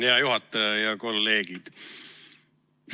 Hea juhataja ja kolleegid!